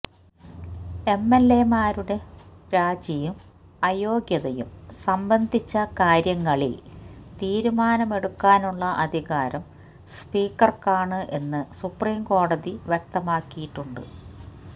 എംഎല്എമാരുടെ രാജിയും അയോഗ്യതയും സംബന്ധിച്ച കാര്യങ്ങളില് തീരുമാനമെടുക്കാനുള്ള അധികാരം സ്പീക്കര്ക്കാണ് എന്ന് സുപ്രീം കോടതി വ്യക്തമാക്കിയിട്ടുണ്ട്